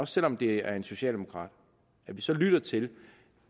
selv om det er en socialdemokrat altså lytter til